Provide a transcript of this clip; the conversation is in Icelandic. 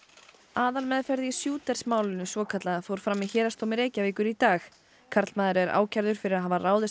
aðalmeðferð í málinu svokallaða fór fram í héraðsdómi Reykjavíkur í dag karlmaður er ákærður fyrir að hafa ráðist